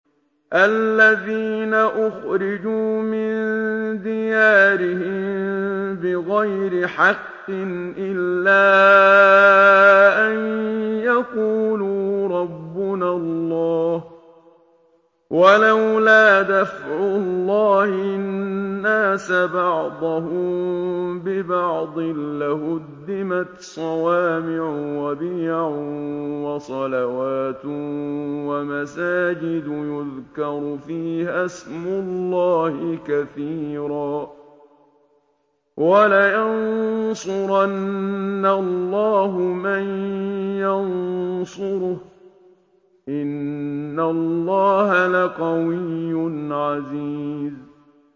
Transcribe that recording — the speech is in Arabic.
الَّذِينَ أُخْرِجُوا مِن دِيَارِهِم بِغَيْرِ حَقٍّ إِلَّا أَن يَقُولُوا رَبُّنَا اللَّهُ ۗ وَلَوْلَا دَفْعُ اللَّهِ النَّاسَ بَعْضَهُم بِبَعْضٍ لَّهُدِّمَتْ صَوَامِعُ وَبِيَعٌ وَصَلَوَاتٌ وَمَسَاجِدُ يُذْكَرُ فِيهَا اسْمُ اللَّهِ كَثِيرًا ۗ وَلَيَنصُرَنَّ اللَّهُ مَن يَنصُرُهُ ۗ إِنَّ اللَّهَ لَقَوِيٌّ عَزِيزٌ